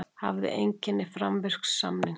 Hafði einkenni framvirks samnings